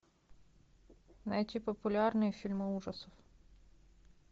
найти популярные фильмы ужасов